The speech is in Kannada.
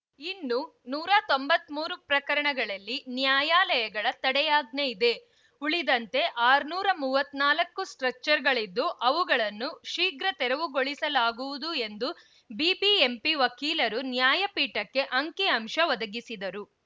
ಇನ್ನು ನೂರ ತೊಂಬತ್ಮೂರು ಪ್ರಕರಣಗಳಲ್ಲಿ ನ್ಯಾಯಾಲಯಗಳ ತಡೆಯಾಜ್ಞೆಯಿದೆ ಉಳಿದಂತೆ ಆರುನೂರ ಮೂವತ್ತ್ ನಾಲ್ಕು ಸ್ಟ್ರಕ್ಚರ್‌ಗಳಿದ್ದು ಅವುಗಳನ್ನು ಶೀಘ್ರ ತೆರವುಗೊಳಿಸಲಾಗುವುದು ಎಂದು ಬಿಬಿಎಂಪಿ ವಕೀಲರು ನ್ಯಾಯಪೀಠಕ್ಕೆ ಅಂಕಿ ಅಂಶ ಒದಗಿಸಿದರು